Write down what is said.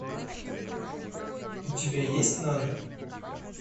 у тебя есть нана